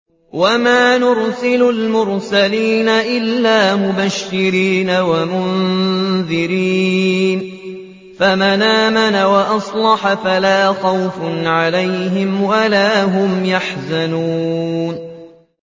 وَمَا نُرْسِلُ الْمُرْسَلِينَ إِلَّا مُبَشِّرِينَ وَمُنذِرِينَ ۖ فَمَنْ آمَنَ وَأَصْلَحَ فَلَا خَوْفٌ عَلَيْهِمْ وَلَا هُمْ يَحْزَنُونَ